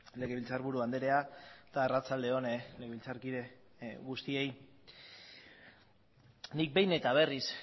legebiltzarburu andrea eta arratsalde on legebiltzarkide guztiei nik behin eta berriz